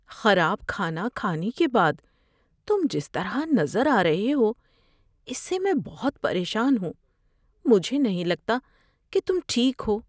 خراب کھانا کھانے کے بعد تم جس طرح نظر آ رہے ہو اس سے میں پریشان ہوں۔ مجھے نہیں لگتا کہ تم ٹھیک ہو۔